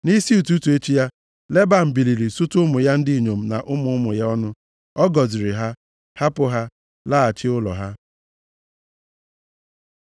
Nʼisi ụtụtụ echi ya, Leban biliri sutu ụmụ ya ndị inyom na ụmụ ụmụ ya ọnụ. Ọ gọziri ha, hapụ ha laghachi ụlọ ha.